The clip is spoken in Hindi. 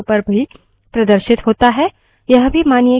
यह भी मानिए कि जब हम किसी command को निष्पादित करते हैं कुछ error भी आते हैं